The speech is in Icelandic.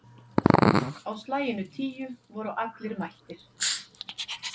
Á slaginu tíu voru allir mættir.